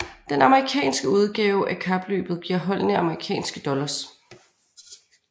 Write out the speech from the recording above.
Den amerikanske udgave af kapløbet giver holdene amerikanske dollars